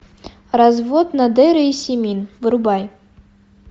развод надера и симин врубай